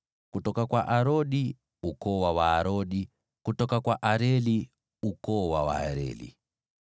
kutoka kwa Arodi, ukoo wa Waarodi; kutoka kwa Areli, ukoo wa Waareli.